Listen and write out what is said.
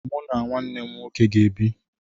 Mụ na nwanne m nwoke ga-ebi.